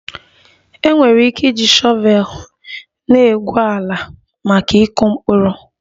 Enwere ike iji shọvel na-egwu ala maka ịkụ mkpụrụ